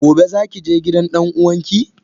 gobe zaki je gidan dan uwanki?